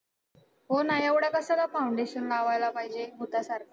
हो ना, एवढं कशाला foundation लावायला पाहिजे भुतासारखं.